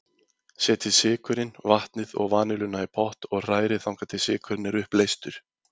Setjið sykurinn, vatnið og vanilluna í pott og hrærið þangað til sykurinn er uppleystur.